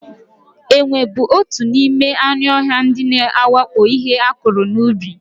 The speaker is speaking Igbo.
Enwe bụ otu n'ime anụ ọhịa ndị na-awakpo ihe akụrụ n'ubi.